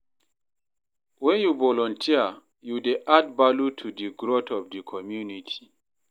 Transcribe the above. Wen yu volunteer, yu dey add value to di growth of di community